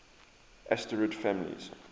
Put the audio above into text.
asterid families